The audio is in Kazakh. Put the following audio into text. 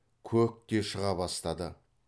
көк те шыға бастады